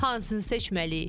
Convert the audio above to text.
Hansını seçməliyik?